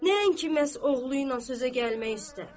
Nəinki məhz oğlu ilə sözə gəlmək istədi.